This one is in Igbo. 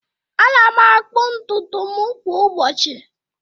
Ana m akpu ntutu m kwa ụbọchị